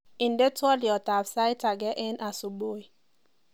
Indenee twoliotab sait ageng asubui